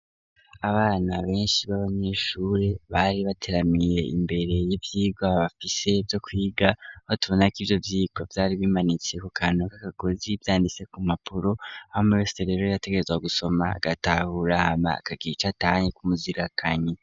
Abana beshi baba nyeshuri bari bateramiye imbere y'ivyiga bafise vyo kwiga batabona ko ivyo vyiko vyari bimanitse ku kantu kaka gozi vyanditse ku mpapuro hama umwe wese yategerezwa gusoma agatahura hama akagica icatahanye kumuzirakanyi.